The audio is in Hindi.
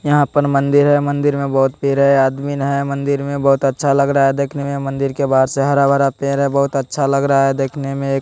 यहाँ पर मंदिर है मंदिर में बहुत पेर है आदमीन है मंदिर में बहुत अच्छा लग रहा है देखने में मंदिर के बाहर से हरा-भरा पेर है बहुत अच्छा लग रहा है देखने में।